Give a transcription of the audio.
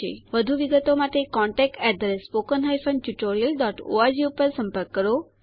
વધુ વિગતો માટે contactspoken tutorialorg ઉપર સંપર્ક કરો